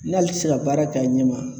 N'ale ti se ka baara k'a ɲɛma